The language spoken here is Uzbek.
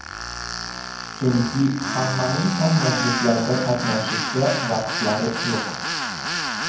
Chunki hammaning ham majlislarda qatnashishga vaqtlari yo‘q.